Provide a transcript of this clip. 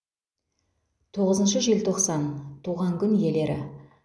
тоғызыншы желтоқсан туған күн иелері